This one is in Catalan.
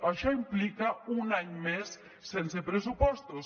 això implica un any més sense pressupostos